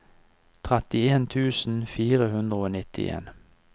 trettien tusen fire hundre og nittien